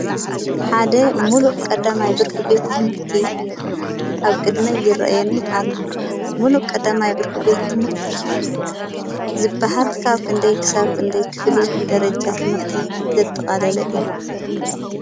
ሓደ ሙሉእ ቀዳማይ ብርኪ ቤት ትምህርቲ ኣብ ቅድመይ ይርኣየኒ ኣሎ። ሙሉእ ቀዳማይ ብርኪ ቤት ትምህርቲ ዝበሃል ካብ ክንደይ ክሳብ ክንደይ ክፍሊ ደርጃ ትምህርቲ ዘጠቃለለ እዩ ?